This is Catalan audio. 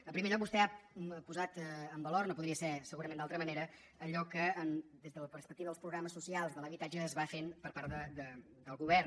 en primer lloc vostè ha posat en valor no podria ser segurament d’altra manera allò que des de la perspectiva dels programes socials de l’habitatge es va fent per part del govern